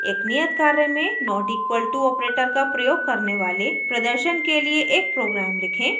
एक नियत कार्य में not equal to operator का प्रयोग करने वाले प्रदर्शन के लिए एक program लिखें